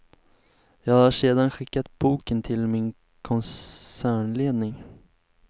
Jag har sedan skickat boken till min koncernledning.